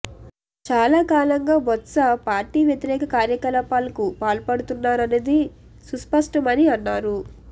చాలా కాలంగా బొత్స పార్టీ వ్యతిరేక కార్యకలాపాలకు పాల్పడుతున్నారన్నది సుస్పష్టమని అన్నారు